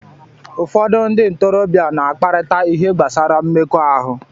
Ụfọdụ ndị ntorobịa na-akparịta ihe gbasara mmekọahụ